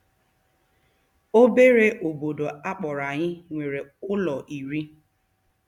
Obere obodo a kpọrọ anyị nwere ụlọ iri.